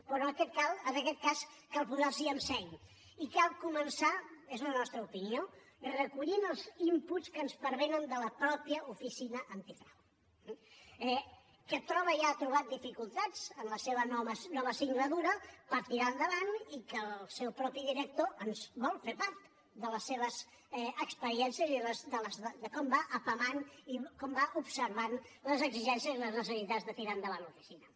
però en aquest cas cal posar s’hi amb seny i cal començar és la nostra opinió recollint els inputs que ens pervenen de la mateixa oficina antifrau eh que troba i ha trobat dificultats en la seva nova singladura per tirar endavant i que el seu propi director ens vol fer part de les seves experiències i de com va apamant i com va observant les exigències i les necessitats de tirar endavant l’oficina